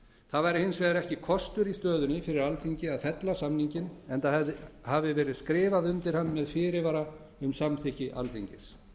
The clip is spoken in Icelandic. það væri hins vegar ekki kostur í stöðunni fyrir alþingi að fella samninginn enda hafi verið skrifað undir hann með fyrirvara um samþykki alþingis